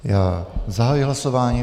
Já zahajuji hlasování.